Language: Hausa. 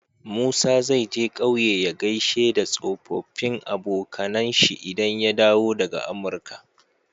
Musa zai je ƙauye ya gaishe da tsofafin abokAnan shi idan ya dawo daka amurka